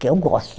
Que eu gosto